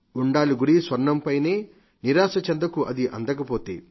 ఉండాలి గురి స్వర్ణం పైనే నిరాశ చెందకు అది అందకపోతే